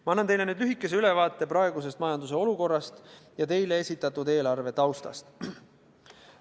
Ma annan teile lühikese ülevaate praegusest majanduse olukorrast ja teile esitatud eelarve taustast.